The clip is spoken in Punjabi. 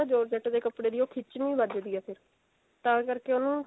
georgette ਦੇ ਕੱਪੜੇ ਦੀ ਉਹ ਖਿਚਵੀਂ ਵੱਜਦੀ ਐ ਫੇਰ ਤਾਂ ਕਰਕੇ ਉਹਨੂੰ